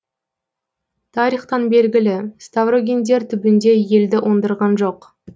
тарихтан белгілі ставрогиндер түбінде елді оңдырған жоқ